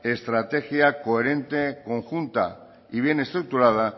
estrategia coherente conjunta y bien estructurada